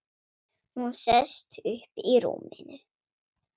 Hún sest upp í rúminu.